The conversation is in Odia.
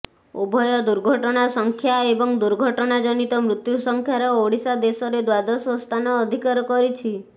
ଉଭୟ ଦୁର୍ଘଟଣା ସଂଖ୍ୟା ଏବଂ ଦୁର୍ଘଟଣା ଜନିତ ମୃତ୍ୟୁ ସଂଖ୍ୟାର ଓଡ଼ିଶା ଦେଶରେ ଦ୍ବାଦଶ ସ୍ଥାନ ଅଧିକାର କରିଛି